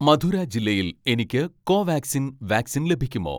മധുര ജില്ലയിൽ എനിക്ക് Covaxin vaccine ലഭിക്കുമോ